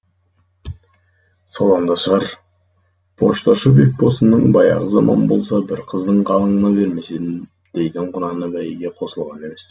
содан да шығар пошташы бекбосынның баяғы заман болса бір қыздың қалыңына бермес едім дейтін құнаны бәйгеге қосылған емес